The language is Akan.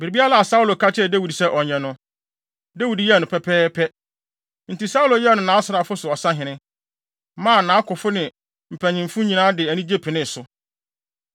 Biribiara a Saulo ka kyerɛɛ Dawid sɛ ɔnyɛ no, Dawid yɛɛ no pɛpɛɛpɛ. Enti Saulo yɛɛ no nʼasraafo so ɔsahene, maa nʼakofo ne wɔn mpanyimfo nyinaa de anigye penee so.